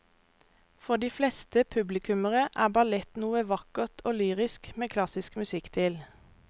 For de fleste publikummere er ballett noe vakkert og lyrisk med klassisk musikk til.